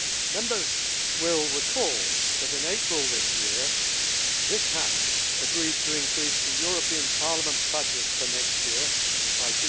Members will recall that, in April this year, this House agreed to increase the European Parliament budget for next year by